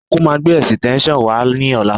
Ọnkú máa gbé ẹ̀sìtẹ́ńṣọ̀n náà wá ní ọ̀la